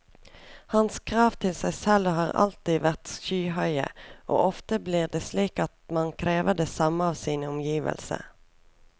Hans krav til seg selv har alltid vært skyhøye, og ofte blir det slik at man krever det samme av sine omgivelser.